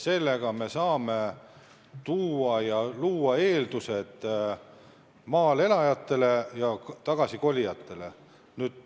Sellega saame luua eeldused maal elajatele ja maale kolijatele.